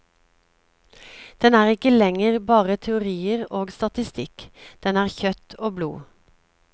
Den er ikke lenger bare teorier og statistikk, den er kjøtt og blod.